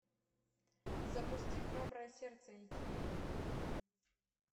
запусти храброе сердце эйч ди